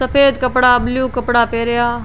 सफ़ेद कपडा ब्लू कपडा पेहरिया।